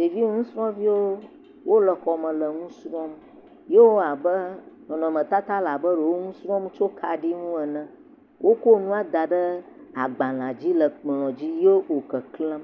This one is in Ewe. Ɖeviwo nusrɔ̃viwo wole xɔme le nu srɔ̃m ye wowɔ abe nɔnɔmetata le abe ɖe wo nu srɔ̃m tsi kaɖi ŋu ene. Woko nua da ɖe agbalẽdzi le kplɔ̃dzi ye wò keklẽm.